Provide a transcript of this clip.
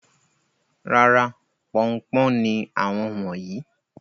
Rárá, pọn-un-pọ́n ni àwọn wọ̀nyí.